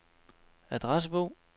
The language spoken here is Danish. adressebog